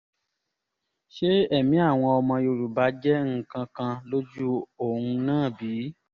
ṣé ẹ̀mí àwọn ọmọ yorùbá jẹ́ nǹkan kan lójú òun náà bí